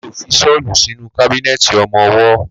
Mi ó fi ṣọ́lù sínú kábínẹ̀tì ọmọwọ́.